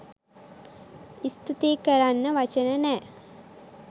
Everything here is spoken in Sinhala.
ස්තූති කරන්න වචන නෑ.